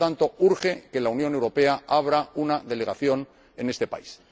Por lo tanto, urge que la Unión Europea abra una delegación en este país.